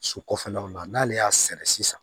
Su kɔfɛlaw la n'ale y'a sɛnɛ sisan